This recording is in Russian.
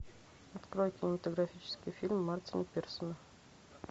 открой кинематографический фильм мартина пирсона